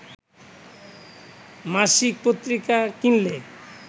মাসিক পত্রিকা কিনলে